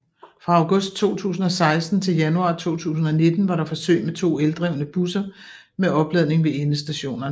Fra august 2016 til januar 2019 var der forsøg med to eldrevne busser med opladning ved endestationerne